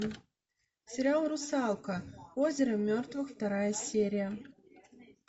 сериал русалка озеро мертвых вторая серия